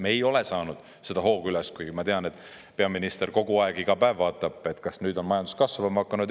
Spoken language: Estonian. Me ei ole saanud seda hoogu üles, kuigi ma tean, et peaminister kogu aeg, iga päev vaatab, kas nüüd on majandus kasvama hakanud.